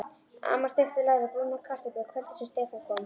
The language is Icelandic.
Amma steikti læri og brúnaði kartöflur kvöldið sem Stefán kom.